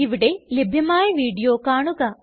ഇവിടെ ലഭ്യമായ വീഡിയോ കാണുക